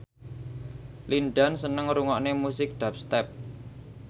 Lin Dan seneng ngrungokne musik dubstep